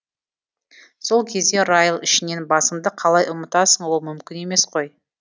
сол кезде райл ішінен басыңды қалай ұмытасың ол мүмкін емес қой